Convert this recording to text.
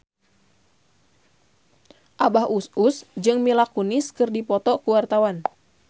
Abah Us Us jeung Mila Kunis keur dipoto ku wartawan